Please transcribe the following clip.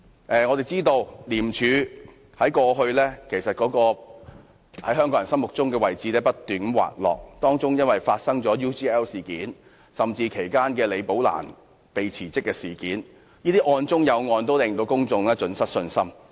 眾所周知，廉政公署在香港人心中的位置不斷滑落，部分原因是發生了 UGL 事件和李寶蘭"被辭職"事件，案中有案，令公眾信心盡失。